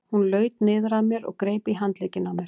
Hún laut niður að mér og greip í handlegginn á mér.